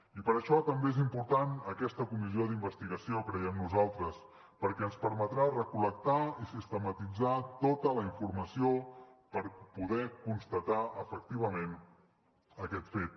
i per això també és important aquesta comissió d’investigació creiem nosaltres perquè ens permetrà recol·lectar i sistematitzar tota la informació per poder constatar efectivament aquest fet